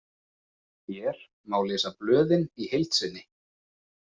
Hér má lesa blöðin í heild sinni.